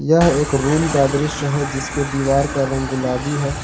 यह एक रूम का दृश्य है जिसके दीवार का रंग गुलाबी है।